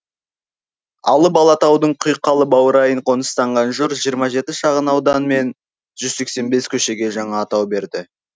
алып алатаудың құйқалы баурайын қоныстанған жұрт жиырма жеті шағынаудан мен жүз сексен бес көшеге жаңа атау берді